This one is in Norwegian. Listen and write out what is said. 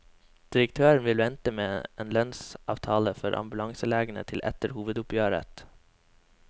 Direktøren vil vente med en lønnsavtale for ambulanselegene til etter hovedoppgjøret.